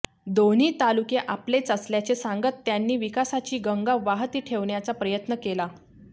दोन्ही तालुके आपलेच असल्याचे सांगत त्यांनी विकासाची गंगा वाहती ठेवण्याचा प्रयत्न केला